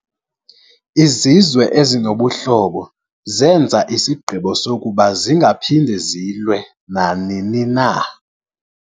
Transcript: Izizwe ezinobuhlobo zenza isigqibo sokuba zingaphindi zilwe nanini.